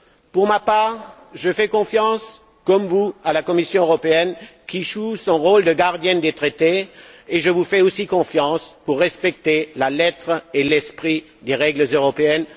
Pour ma part, je fais confiance tout comme vous à la Commission européenne qui joue son rôle de gardienne des traités et je vous fais également confiance pour respecter la lettre et l'esprit des règles européennes.